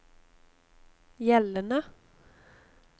gjeldende